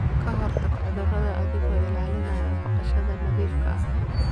Ka hortag cudurada adigoo ilaalinaya baqashada nadiifka ah.